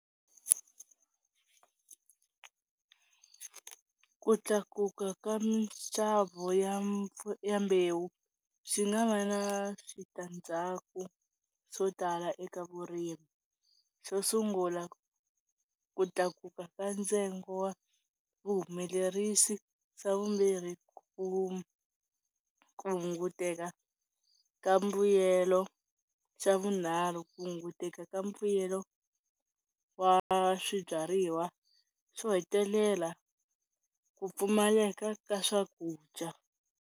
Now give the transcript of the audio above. Ku tlakuka ka minxavo ya ya mbewu swi nga va na switandzhaku swo tala eka vurimi. Xo sungula ku tlakuka ka ntsengo wa vuhumelerisi, xa vumbirhi ku hunguteka ka mbuyelo, xa vunharhu ku hunguteka ka mbuyelo wa swibyariwa, xo hetelela ku pfumaleka ka swakudya.